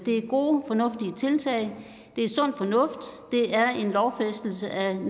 er gode og fornuftige tiltag det er sund fornuft og det er en lovfæstelse af en